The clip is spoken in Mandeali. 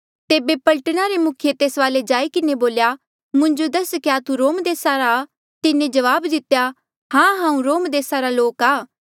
तेबे पलटना रे मुखिये तेस वाले जाई किन्हें बोल्या मुंजो दस क्या तू रोम देसा आ रा तिन्हें जवाब दितेया हां हांऊँ रोम देसा रा लोक आ